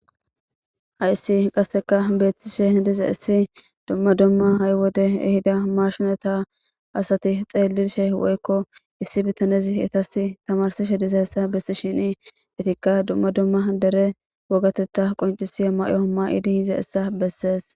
Hayssi qasseka beettishe diza issi dumma dumma haywode ehida marshunata asati xeellirshe woykko issi bitanezi itas tamarsishe diza essa bessi shini etikka dumma dumma dere wogatetta qoncisi ma'o ma idi hiza issa bessees.